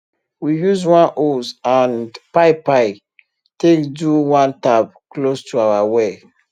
we use one hose and pipie take do one tap close to our well